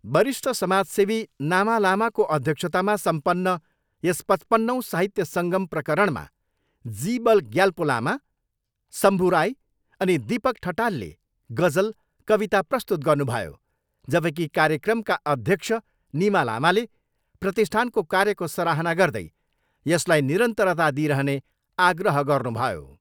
वरिष्ठ समाज सेवी नामा लामाको अध्यक्षतामा सम्पन्न यस पचपन्नौँ साहित्य सङ्गम प्रकरणमा जी बल ग्याल्पो लामा, शम्भू राई अनि दीपक ठटालले गजल, कविता प्रस्तुत गर्नुभयो जबकि कार्यक्रमका अध्यक्ष निमा लामाले प्रतिष्ठानको कार्यको सराहना गर्दै यसलाई निरन्तरता दिइरहने आग्रह गर्नुभयो।